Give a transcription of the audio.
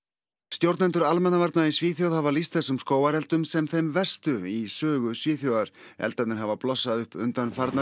stjórnendur almannavarna í Svíþjóð hafa lýst þessum skógareldum sem þeim verstu í sögu Svíþjóðar eldarnir hafa blossað upp undanfarnar